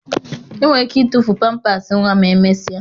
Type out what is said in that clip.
Enwere ike ịtụfu pampasị nwa ma emesịa